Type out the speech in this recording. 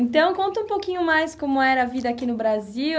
Então, conta um pouquinho mais como era a vida aqui no Brasil.